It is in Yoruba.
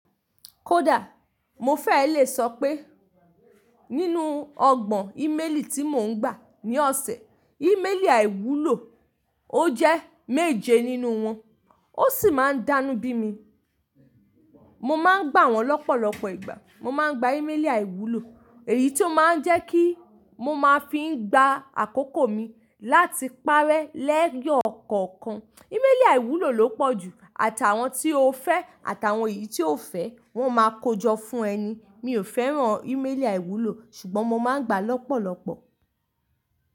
Kódà mo fee lè sọ pé nínú ọgbọ́n íméèlì tí mò ń gbà ní ọ̀sẹ̀, íméèlì àìwúlò ó jẹ́ méje nínú wọn, ó sì máa ń dánubí mi. Mo má ń gbà wọ́n lọ́pọ̀lọpọ̀ ìgbà, mo má ń gba íméèlì àìwúlò, èyí tí ó má ń jẹ́ kí mo máa fi ń gba àkókò mi láti parẹ́ lẹ́yọ kọ̀ọ̀kan. Íméèlì àìwúlò ló pọ̀jù àtàwọn tí o fẹ́ àtàwọn èyí tí o fẹ́, wọ́n máa kojọ fún ẹ ni. Mi ò fẹ́ràn íméèlì àìwúlò ṣùgbọ́n mo má ń gbà lọ́pọ̀lọpọ̀.